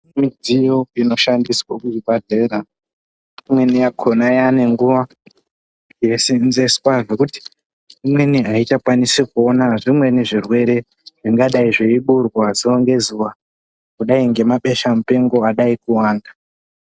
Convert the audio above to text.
Midziyo inoshandiswa kuzvibhahlera imweni yakhona yanenguwa yei senzeswa zvekuti imweni aichakwanisi kuona zvimweni zvirwere zvingadai zveiburwa zuwa ngezuwa kudai ngebesha mupengo adai kuwanda.